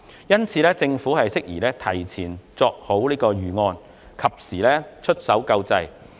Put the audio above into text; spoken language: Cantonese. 因此，政府適宜提前作出預案，及時出手救濟。